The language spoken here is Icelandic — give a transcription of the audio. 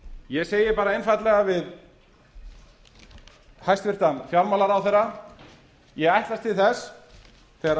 ég segi bara einfaldlega við hæstvirtan fjármálaráðherra ég ætlast til þess þegar